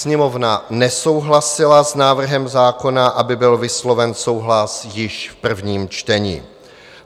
Sněmovna nesouhlasila s návrhem zákona, aby byl vysloven souhlas již v prvním čtení.